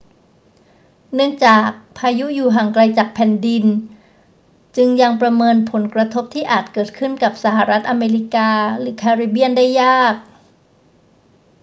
เนื่องจากพายุอยู่ห่างไกลจากแผ่นดิน จึงยังประเมินผลกระทบที่อาจเกิดขึ้นกับสหรัฐอเมริกาหรือแคริบเบียนได้ยาก